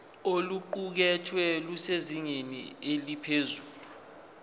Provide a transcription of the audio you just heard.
oluqukethwe lusezingeni eliphezulu